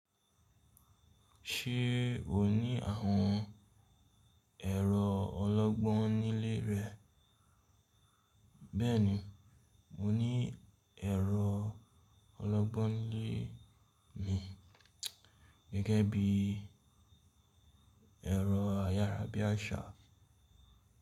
Ṣé o ní àwọn ẹ̀rọ ọlọ́gbọ́n nílé rẹ? Bẹ́ẹ̀ni, mo ní ẹ̀rọ ọlọ́gbọ́n nílé mi gẹ́gẹ́ bí ẹ̀rọ ayárabíàṣá.